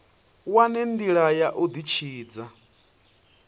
wane ndila ya u ditshidza